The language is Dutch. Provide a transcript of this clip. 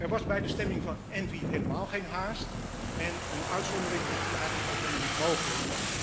Er was bij de stemming van ENVI helemaal geen haast en een uitzondering is dus eigenlijk ook helemaal niet mogelijk.